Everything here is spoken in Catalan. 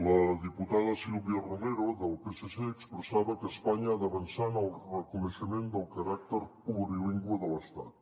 la diputada sílvia romero del psc expressava que espanya ha d’avançar en el reconeixement del caràcter plurilingüe de l’estat